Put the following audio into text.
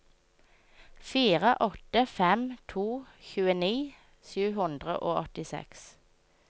fire åtte fem to tjueni sju hundre og åttiseks